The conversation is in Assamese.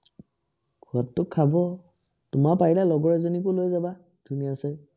খোৱাতটো খাব। তোমাৰ পাৰিলে লগৰ এজনীকো লৈ যাবা ধুনীয়াচে।